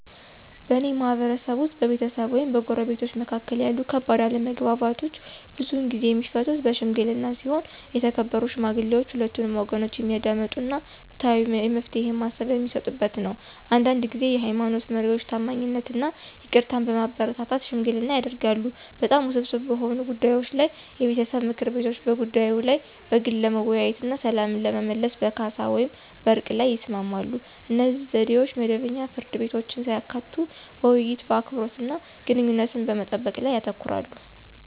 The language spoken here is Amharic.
በእኔ ማህበረሰብ ውስጥ፣ በቤተሰብ ወይም በጎረቤቶች መካከል ያሉ ከባድ አለመግባባቶች ብዙውን ጊዜ የሚፈቱት በሺምግሊና ሲሆን የተከበሩ ሽማግሌዎች ሁለቱንም ወገኖች የሚያዳምጡ እና ፍትሃዊ የመፍትሄ ሃሳብ በሚሰጡበት ነው። አንዳንድ ጊዜ የሃይማኖት መሪዎች ታማኝነትን እና ይቅርታን በማበረታታት ሽምግልና ያደርጋሉ። በጣም ውስብስብ በሆኑ ጉዳዮች ላይ የቤተሰብ ምክር ቤቶች በጉዳዩ ላይ በግል ለመወያየት እና ሰላምን ለመመለስ በካሳ ወይም በዕርቅ ላይ ይስማማሉ. እነዚህ ዘዴዎች መደበኛ ፍርድ ቤቶችን ሳያካትቱ በውይይት፣ በአክብሮት እና ግንኙነቶችን በመጠበቅ ላይ ያተኩራሉ።